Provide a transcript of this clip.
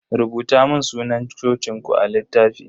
Rubuta mun sunan cocin ku a littafi.